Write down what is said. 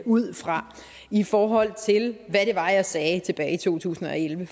ud fra i forhold til hvad det var jeg sagde tilbage i to tusind og elleve